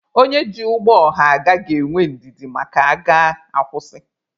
Onye ji ụgbọ ọha aga ga-enwe ndidi maka a gaa, a kwụsị.